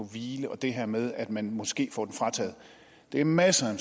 hvile og det her med at man måske får den frataget det er masser af